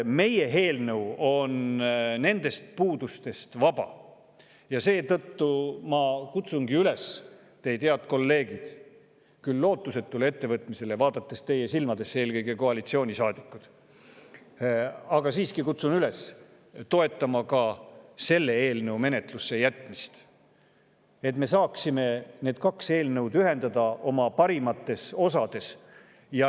Meie eelnõu on nendest puudustest vaba ja seetõttu ma kutsungi üles teid, head kolleegid, küll lootusetule ettevõtmisele – vaadates teie silmadesse eelkõige, koalitsioonisaadikud –, aga siiski kutsun üles toetama ka selle eelnõu menetlusse jätmist, et me saaksime need kaks eelnõu ühendada nende parimates osades.